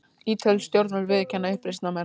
Ítölsk stjórnvöld viðurkenna uppreisnarmenn